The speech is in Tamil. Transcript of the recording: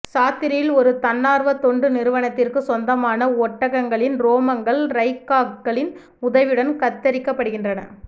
சாத்ரியில் ஒரு தன்னார்வத் தொண்டு நிறுவனத்திற்கு சொந்தமான ஒட்டங்கங்களின் ரோமங்கள் ரைகாக்களின் உதவியுடன் கத்தரிக்கப்படுகின்றன